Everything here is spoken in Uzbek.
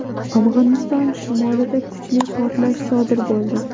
Afg‘oniston shimolida kuchli portlash sodir bo‘ldi.